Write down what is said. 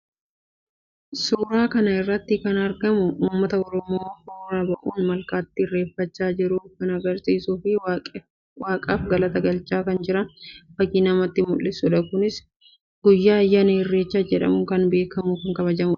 Suuraa kana irratti kan argamu uummata Oromoo hora bu'uun malkaatti irreeffachaa jiru kan agarsiisuu fi waaqaaf galata galchaa akka jiran fakki namatti mul'isuudha. Kunis guyyaa ayyaana Irreechaa jedhamuun kan beekamuudha.